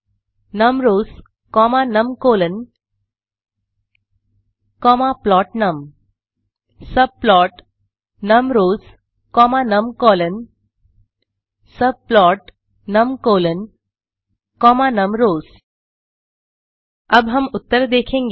subplotnumrowsकॉमा numcolsकॉमा प्लोटनम subplotnumrowsकॉमा नमकॉल्स subplotnumcolsकॉमा नमरोज अब हम उत्तर देखेंगे